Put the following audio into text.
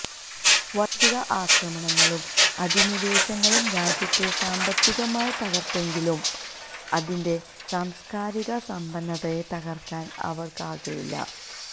വൈദേശിക ആക്രണങ്ങളും അനിധിവേശങ്ങളും രാജ്യത്തെ സാമ്പത്തികമായി തകര്ത്തെങ്കിലും അതിന്റെ സാംസ്കാരിക സമ്പന്നതയെ തകര്ക്കാന് അവര്ക്കായില്ല